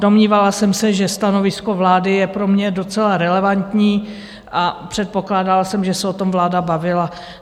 Domnívala jsem se, že stanovisko vlády je pro mě docela relevantní, a předpokládala jsem, že se o tom vláda bavila.